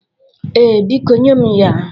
Ee, biko nye m ya.